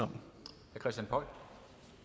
om